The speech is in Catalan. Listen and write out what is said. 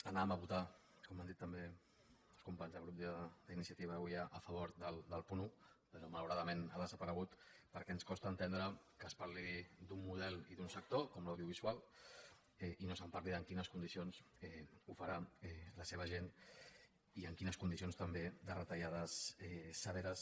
anàvem a votar com han dit també els companys del grup d’iniciativa avui a favor del punt un però malauradament ha desaparegut perquè ens costa entendre que es parli d’un model i d’un sector com l’audiovisual i no es parli de en quines condicions ho farà la seva gent i en quines condicions també de retallades severes